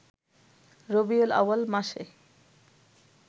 রবিউল আউয়াল মাসে